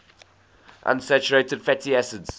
unsaturated fatty acids